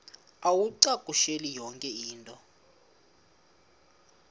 uwacakushele yonke into